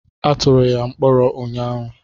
Atụrụ ya mkpọrọ ụnyaahụ.